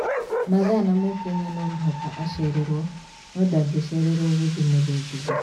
Mathaa na Mũkenya no mũhaka a cererwo no nda ngĩ cererwo gũthie mũthũngũtho?